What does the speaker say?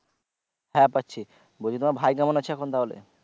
হ্যাঁ পাচ্ছি বলছি তোমার ভাই কেমন আছে এখন তাহলে?